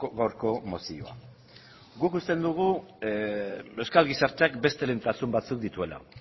gaurko mozioa guk uste dugu euskal gizarteak beste lehentasun batzuk dituela